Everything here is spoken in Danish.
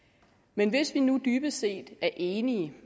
men hvis vi nu dybest set er enige